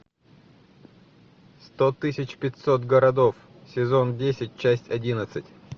сто тысяч пятьсот городов сезон десять часть одиннадцать